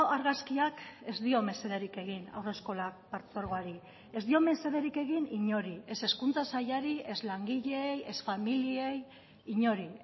argazkiak ez dio mesederik egin haurreskolak partzuergoari ez dio mesederik egin inori ez hezkuntza sailari ez langileei ez familiei inori